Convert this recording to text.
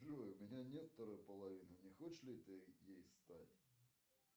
джой у меня нет второй половины не хочешь ли ты ей стать